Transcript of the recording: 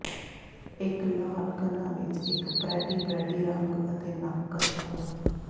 ਇੱਕ ਲਾਲ ਕਣਾਂ ਵਿੱਚ ਇੱਕ ਪਰੈਟੀ ਪਰੈਟੀ ਰੰਗ ਅਤੇ ਨੱਕ ਰੱਖੋ